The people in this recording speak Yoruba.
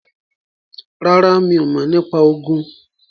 ràrá mí o mọ nipa Ogun.